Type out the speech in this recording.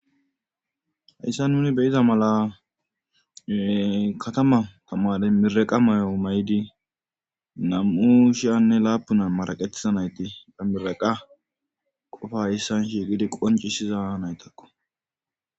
Hayssa nuni beyiza mala katama tamare miraqa mayo may7idi nam7u shiyanne laapuna maraqetisa nayti bamiraqa qofa issan shi gidi qoncisiza naytakko.